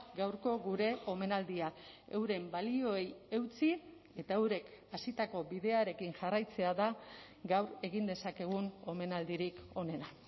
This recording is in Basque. gaurko gure omenaldia euren balioei eutsi eta eurek hasitako bidearekin jarraitzea da gaur egin dezakegun omenaldirik onena